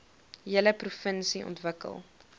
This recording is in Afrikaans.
hele provinsie ontwikkel